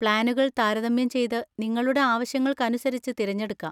പ്ലാനുകൾ താരതമ്യം ചെയ്ത് നിങ്ങളുടെ ആവശ്യങ്ങൾക്കനുസരിച്ച് തിരഞ്ഞെടുക്കാം.